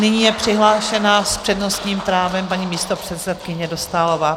Nyní je přihlášená s přednostním právem paní místopředsedkyně Dostálová.